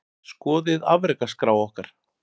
Skoðið afrekaskrá okkar